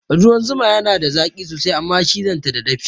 Ruwan zuma yana da zaki sosai Amma cizon ta dafi ne